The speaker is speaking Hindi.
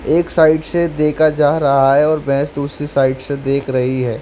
एक साइड से देखा जा रहा है और भैंस दूसरी साइड से देख रही है।